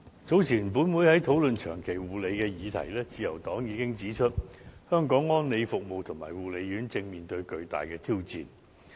早前本會在討論"長期護理"的議題時，自由黨已經指出，香港安老服務及護理院舍正面對巨大的挑戰。